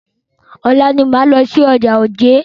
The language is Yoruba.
Ọ̀la ni máa lọ sí ọjà Ojé.